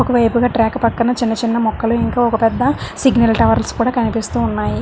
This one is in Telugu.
ఒక వైపుగా ట్రాక్ పక్కన చిన్న చిన్న మొక్కలు ఇంకా ఒక పెద్ద సిగ్నల్ టవర్స్ కూడా కనిపిస్తూ ఉన్నాయి.